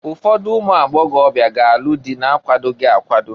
Ụfọdụ ụmụagbọgọbịa ga-alụ dị na-akwadoghi akwado.